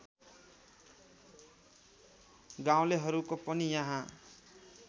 गाउँलेहरूको पनि यहाँ